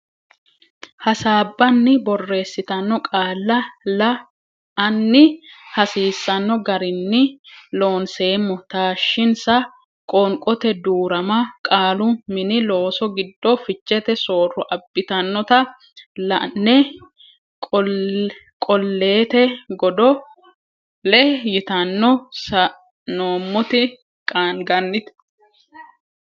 hasaabbanni borreessitanno qaalla la anni hasiisanno garinni Loonseemmo taashshinsa qoonqote duu rama qaalu Mini Looso giddo fichete sooro abbitannota la ne Qolleete Godo le yitanno sa noommoti qaanganite.